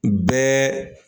Bɛɛ